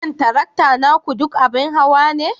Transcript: Shin tarakta naku duk abin hawa ne?